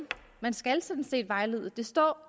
man skal sådan set vejlede der står